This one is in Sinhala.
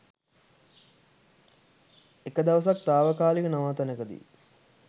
එක දවසක් තාවකාලික නවාතැනකදි